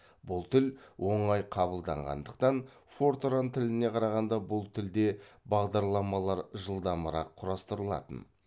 бұл тіл оңай қабылданғандықтан фортран тіліне қарағанда бұл тілде бағдарламалар жылдамырақ құрастырылатын